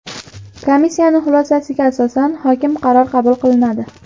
Komissiyani xulosasiga asosan hokim qarori qabul qilinadi.